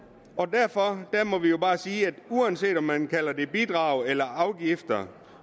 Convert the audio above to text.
derfor må vi jo bare sige at uanset om man kalder det bidrag eller afgifter